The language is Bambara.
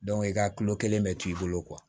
i ka kilo kelen bɛ to i bolo